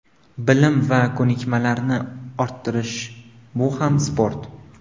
Bilim va ko‘nikmalarni orttirish – bu ham sport.